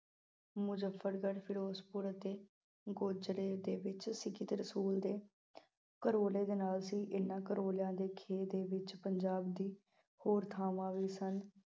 ਮੁਜ਼ੱਫਰਗੜ, ਫਿਰੋਜ਼ਪੁਰ ਅਤੇ ਗੋਜ਼ਰੇ ਦੇ ਵਿੱਚ ਰਸੂਲ ਦੇ ਕਰੋਲੇ ਦੇ ਨਾਲ਼ ਸੀ। ਇਹਨਾਂ ਕਰੋਲਿਆਂ ਦੇ ਖੇਤ ਦੇ ਵਿੱਚ ਪੰਜਾਬ ਦੀ ਹੋਰ ਥਾਵਾਂ ਵੀ ਸਨ।